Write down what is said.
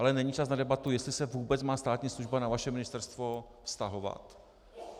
Ale není čas na debatu, jestli se vůbec má státní služba na vaše ministerstvo vztahovat?